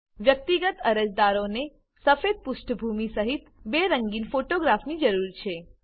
વ્યક્તિગત અરજદારોને સફેદ પૃષ્ઠભૂમિ સહીત બે રંગીન ફોટોગ્રાફની જરૂર છે